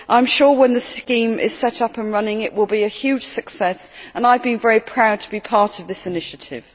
I am sure when the scheme is set up and running it will be a huge success and I have been very proud to be part of this initiative.